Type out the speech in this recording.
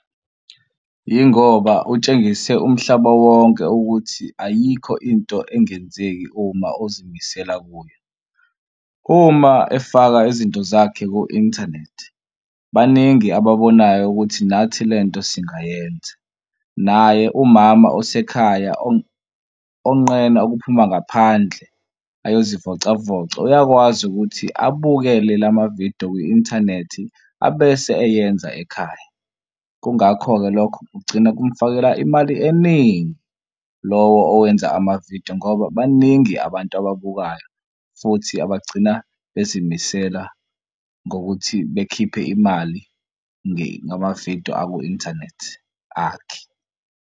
Yingoba utshengise umhlaba wonke ukuthi ayikho into engenzeki uma uzimisela kuyo. Uma efaka izinto zakhe ku-inthanethi baningi ababonayo ukuthi nathi le nto singayenza. Naye umama osekhaya onqena ukuphuma ngaphandle ayozivocavoca uyakwazi ukuthi abukele lamavidiyo kwi-inthanethi abese eyenza ekhaya. Kungakho-ke lokho kugcina kumfakela imali eningi lowo owenza amavidiyo ngoba baningi abantu ababukayo futhi abagcina bezimisela ngokuthi bekhiphe imali ngamavidiyo aku-inthanethi akhe.